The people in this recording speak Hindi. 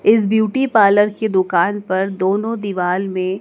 इस ब्यूटी पार्लर की दुकान पर दोनों दीवाल में--